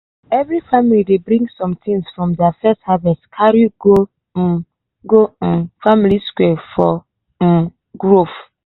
every family dey bring smething from their first harvest carry go um go um village square for um groove.